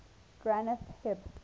granth hib